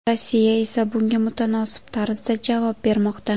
Rossiya esa bunga mutanosib tarzda javob bermoqda.